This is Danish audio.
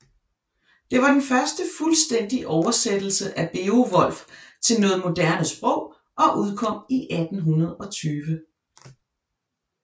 Det var den første fuldstændige oversættelse af Beowulf til noget moderne sprog og udkom i 1820